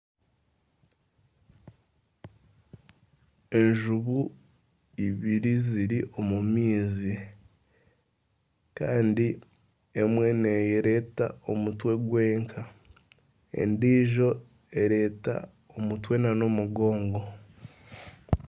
Enjubu ibiri ziri omu maizi kandi emwe neyoreka omutwe gwonka endijo ereeta omutwe na n'omugongo.